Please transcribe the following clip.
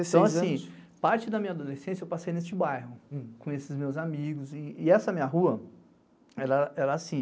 Então assim, parte da minha adolescência eu passei neste bairro, com esses meus amigos e essa minha rua, ela era assim...